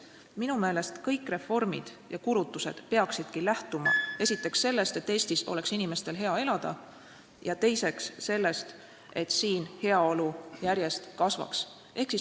Minu meelest peaksid kõik reformid ja kulutused lähtuma esiteks sellest, et Eestis oleks inimestel hea elada, ja teiseks sellest, et siin heaolu järjest kasvaks.